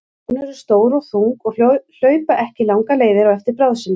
Ljón eru stór og þung og hlaupa ekki langar leiðir á eftir bráð sinni.